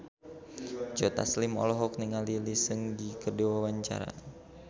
Joe Taslim olohok ningali Lee Seung Gi keur diwawancara